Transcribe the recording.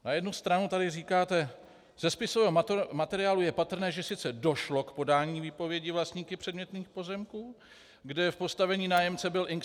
Na jednu stranu tady říkáte: Ze spisového materiálu je patrné, že sice došlo k podání výpovědi vlastníky předmětných pozemků, kde v postavení nájemce byl Ing.